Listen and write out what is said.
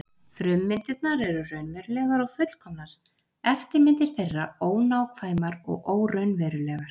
Frummyndirnar eru raunverulegar og fullkomnar, eftirmyndir þeirra ónákvæmar og óraunverulegar.